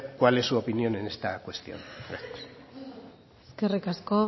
cuál es su opinión en esta cuestión gracias eskerrik asko